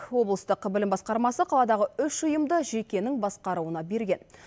облыстық білім басқармасы қаладағы үш ұйымды жекенің басқаруына берген